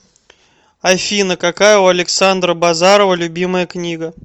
афина какая у александра базарова любимая книга